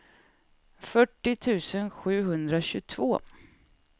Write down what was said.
fyrtio tusen sjuhundratjugotvå